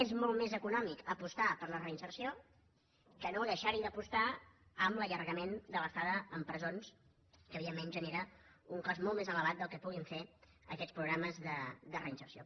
és molt més econòmic apostar per la reinserció que no deixar hi d’apostar amb l’allargament de l’estada en presons que evidentment genera un cost molt més elevat del que puguin fer aquests programes de reinserció